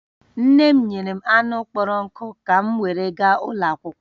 Nne m nyere m anụ kpọrọ nkụ ka m were gaa ụlọ akwụkwọ